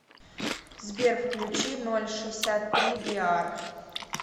сбер включи ноль шисят три биар